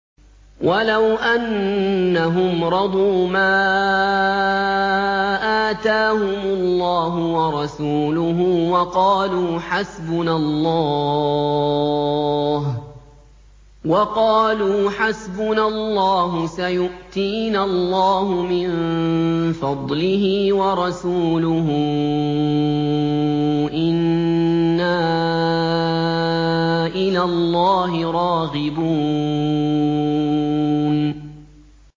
وَلَوْ أَنَّهُمْ رَضُوا مَا آتَاهُمُ اللَّهُ وَرَسُولُهُ وَقَالُوا حَسْبُنَا اللَّهُ سَيُؤْتِينَا اللَّهُ مِن فَضْلِهِ وَرَسُولُهُ إِنَّا إِلَى اللَّهِ رَاغِبُونَ